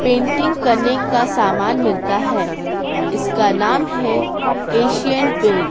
painting करने का सामान मिलता है इसका नाम है एशियन पेंट --